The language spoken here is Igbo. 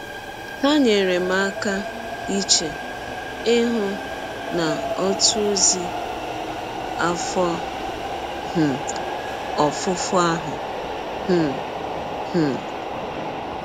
Ha nyeere m aka iche ihụ n’ọtụ ọzi afọ um ọfụfọ ahụ um. um